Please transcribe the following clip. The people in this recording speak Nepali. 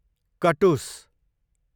कटुस